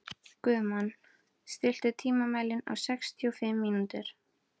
Guðmon, stilltu tímamælinn á sextíu og fimm mínútur.